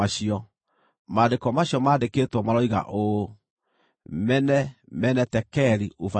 “Maandĩko macio mandĩkĩtwo maroiga ũũ: MENE, MENE, TEKEL, UPHARSIN